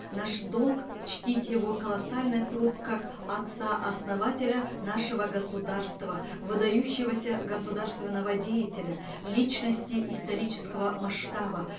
наш долг чтить его колоссальный труд как отца основателя нашего государства выдающегося государственного деятеля личности исторического масштаба